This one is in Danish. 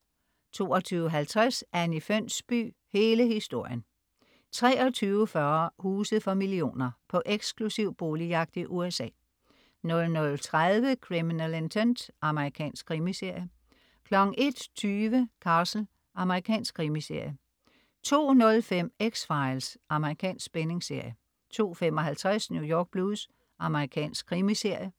22.50 Anni Fønsby, hele historien 23.40 Huse for millioner. På eksklusiv boligjagt i USA 00.30 Criminal Intent. Amerikansk krimiserie 01.20 Castle. Amerikansk krimiserie 02.05 X-Files. Amerikansk spændingsserie 02.55 New York Blues. Amerikansk krimiserie